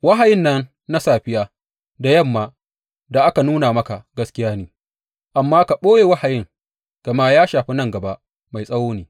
Wahayin nan na safiya da yamma da aka nuna maka gaskiya ne, amma ka ɓoye wahayin, gama ya shafi nan gaba mai tsawo ne.